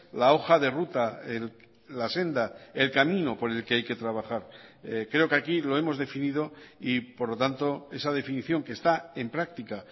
la hoja de ruta la senda el camino por el que hay que trabajar creo que aquí lo hemos definido y por lo tanto esa definición que está en práctica